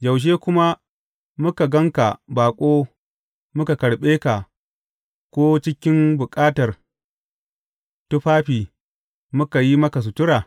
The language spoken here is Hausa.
Yaushe kuma muka gan ka baƙo muka karɓe ka, ko cikin bukatar tufafi muka yi maka sutura?